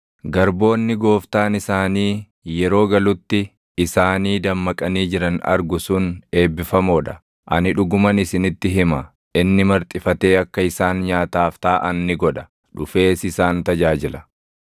Garboonni gooftaan isaanii yeroo galutti isaanii dammaqanii jiran argu sun eebbifamoo dha; ani dhuguman isinitti hima; inni marxifatee akka isaan nyaataaf taaʼan ni godha; dhufees isaan tajaajila.